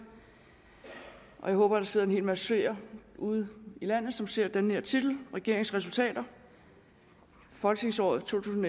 og jeg håber der sidder en hel masse seere ude i landet som ser den her titel regeringens resultater folketingsåret to tusind